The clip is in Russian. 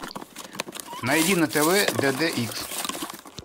найди на тв дд икс